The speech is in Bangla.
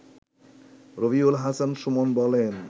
রবিউল হাসান সুমন বলেন